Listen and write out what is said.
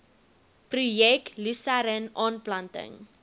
projek lusern aanplanting